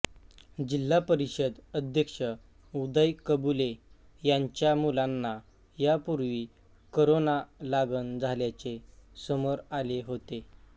जिल्हा परिषद अध्यक्ष उदय कबुले यांच्या मुलांना यापूर्वी करोना लागण झाल्याचे समोर आले होते